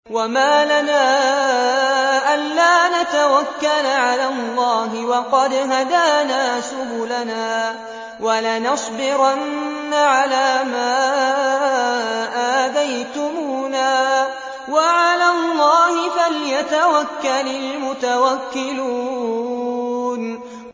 وَمَا لَنَا أَلَّا نَتَوَكَّلَ عَلَى اللَّهِ وَقَدْ هَدَانَا سُبُلَنَا ۚ وَلَنَصْبِرَنَّ عَلَىٰ مَا آذَيْتُمُونَا ۚ وَعَلَى اللَّهِ فَلْيَتَوَكَّلِ الْمُتَوَكِّلُونَ